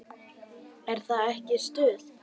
Er það ekki stuð?